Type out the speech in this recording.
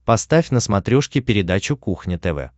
поставь на смотрешке передачу кухня тв